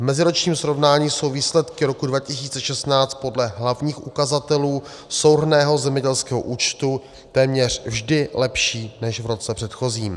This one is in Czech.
V meziročním srovnání jsou výsledky roku 2016 podle hlavních ukazatelů souhrnného zemědělského účtu téměř vždy lepší než v roce předchozím.